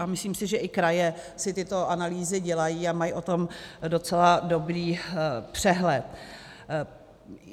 A myslím si, že i kraje si tyto analýzy dělají a mají o tom docela dobrý přehled.